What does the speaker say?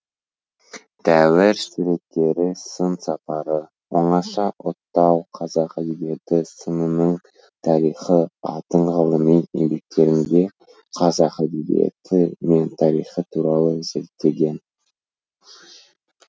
дәуір суреттері сын сапары оңаша отау қазақ әдебиеті сынының тарихы атты ғылыми еңбектерінде қазақ әдебиеті мен тарихы туралы зерттеген